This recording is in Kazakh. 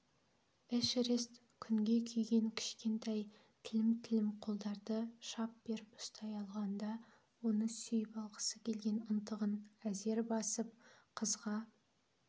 эшерест күнге күйген кішкентай тілім-тілім қолдарды шап беріп ұстай алғанда оны сүйіп алғысы келген ынтығын әзер басып қызға